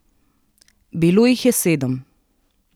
Bilo jih je sedem.